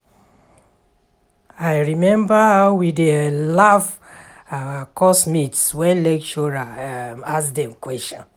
I rememba how we dey laugh our course mates wen lecturer ask dem question